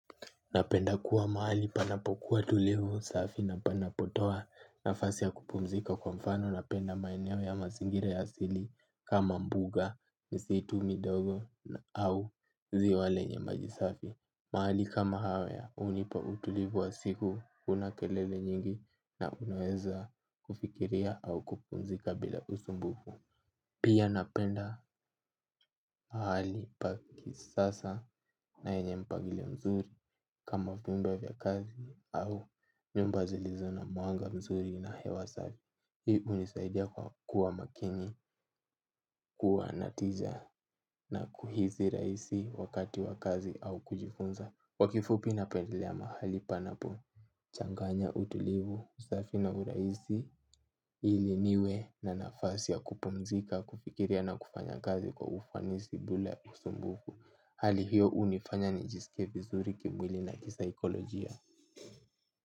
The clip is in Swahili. Napenda kuwa mahali panapokuwa tulivu safi na panapotoa nafasi ya kupumzika kwa mfano na lpenda maeneo ya masingira ya asili kama mbuga, misitu midogo au ziwa lenye maji safi. Mahali kama haya hunipa utulivu wa siku hakuna kelele nyingi na unaweza kufikiria au kupumzika bila usumbufu. Pia napenda pahali pa kisasa na yenye mpangilio mzuri kama nyumba vya kazi au nyumba zilizo na mwanga mzuri na hewa safi hunisaidia kwa kuwa makini, kuwa na tija na kuhisi rahisi wakati wa kazi au kujifunza kwa kifupi napendelea mahali panapo changanya utulivu, usafi na uraisi ili niwe na nafasi ya kupumzika, kufikiria na kufanya kazi kwa ufanisi bila usumbufu. Hali hiyo hunifanya nijisikie vizuri kimwili na kisaikolojia.